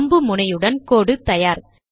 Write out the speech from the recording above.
அம்பு முனையுடன் கோடு தயார்